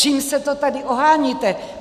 Čím se to tady oháníte?